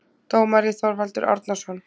Dómari: Þorvaldur Árnason